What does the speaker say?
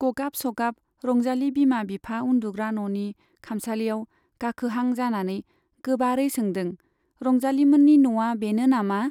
गगाब सगाब रंजाली बिमा बिफा उन्दुग्रा न'नि खामसालियाव गाखोहां जानानै गोबारै सोंदों , रंजालीमोननि न'आ बेनो नामा ?